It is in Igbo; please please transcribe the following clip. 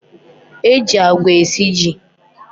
E ji agwa esi ji.